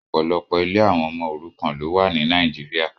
Ọpọlọpọ ilé awọn ọmọ orukan lo wá ní Nàìjíría